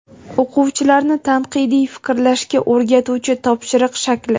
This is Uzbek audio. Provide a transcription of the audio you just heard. O‘quvchilarni tanqidiy fikrlashga o‘rgatuvchi topshiriq shakli.